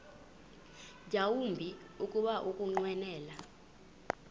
yawumbi kuba ukunqwenela